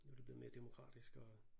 Nu er det blevet mere demokratisk og